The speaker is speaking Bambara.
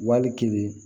Wali kelen